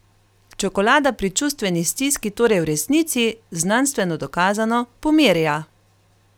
Čokolada pri čustveni stiski torej v resnici, znanstveno dokazano, pomirja!